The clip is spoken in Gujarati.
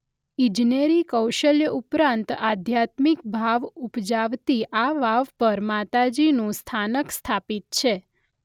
ઇજનેરી કૌશલ્ય ઉપરાંત આધ્યાત્મિક ભાવ ઉપજાવતી આ વાવ પર માતાજીનું સ્થાનક સ્થાપિત છે.